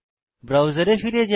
ব্রাউজারে ফিরে যাই